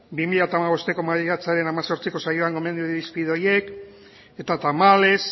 bi mila bosteko maiatzaren hemezortziko saioan gomendio irizpide horiek eta tamalez